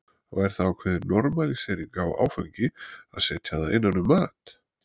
Og er það ákveðin normalísering á áfengi að setja það innan um mat?